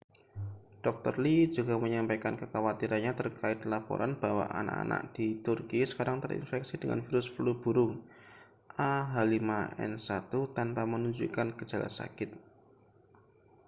dr. lee juga menyampaikan kekhawatirannya terkait laporan bahwa anak-anak di turki sekarang terinfeksi dengan virus flu burung ah5n1 tanpa menunjukkan gejala sakit